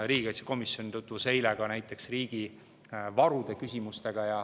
Riigikaitsekomisjon tutvus eile ka näiteks riigi varude küsimustega.